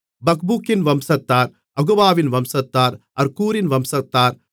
பக்பூக்கின் வம்சத்தார் அகுபாவின் வம்சத்தார் அர்கூரின் வம்சத்தார்